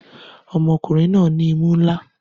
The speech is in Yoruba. Ọmọkùnrin náà ní imú ńlá